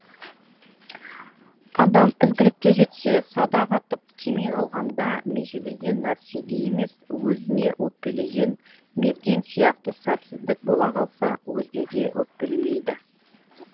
адам ізгілікке жетсе садақ атып тимей қалғанда межелеген нәрсеге емес өзіне өкпелеген мерген сияқты сәтсіздік бола қалса өзгеге өкпелемейді